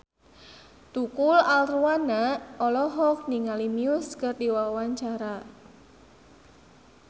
Tukul Arwana olohok ningali Muse keur diwawancara